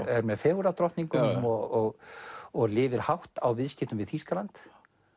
er með fegurðardrottningum og og lifir hátt á viðskiptum við Þýskaland